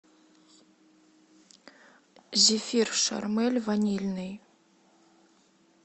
зефир шармель ванильный